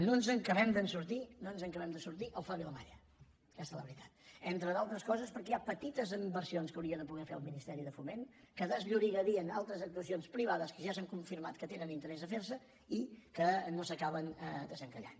no ens n’acabem de sortir no ens n’acabem de sortir al far·vilamalla aquesta és la veritat entre al·tres coses perquè hi ha petites inversions que hauria de poder fer el ministeri de foment que desllorigari·en altres actuacions privades que ja s’han confirmat que tenen interès a fer·se i que no s’acaben desenca·llant